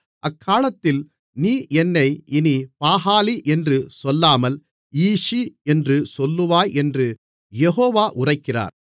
அக்காலத்தில் நீ என்னை இனி பாகாலி என்று சொல்லாமல் ஈஷி என்று சொல்லுவாய் என்று யெகோவா உரைக்கிறார்